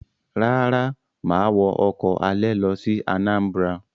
Rárá, mà á wọ ọkọ̀ alẹ̀ lọ sí Anambra.